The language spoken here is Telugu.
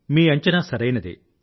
మీ అంచనా సరైనదే